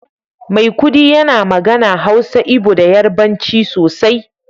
maikudi yana magana, Hausa, Igbo da Yarbanci sosai